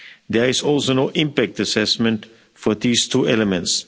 There is also no impact assessment for these two elements.